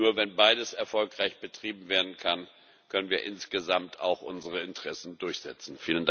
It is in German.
Nur wenn beides erfolgreich betrieben werden kann, können wir insgesamt auch unsere Interessen durchsetzen.